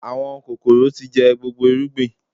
Àwọn kòkòrò tí jẹ gbogbo irúgbìn